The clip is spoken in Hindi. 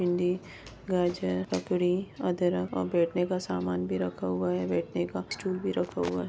भिंडी गाजर ककड़ी अदरक और बैठने का सामान भी रखा हुआ है बैठने का स्टूल भी रखा हुआ है।